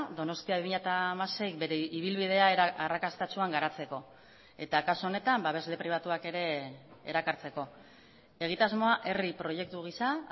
donostia bi mila hamasei bere ibilbidea arrakastatsuan garatzeko eta kasu honetan babesle pribatuak ere erakartzeko egitasmoa herri proiektu gisa